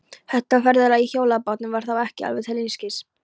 Þetta ferðalag í hjólabátnum var þá ekki alveg til einskis.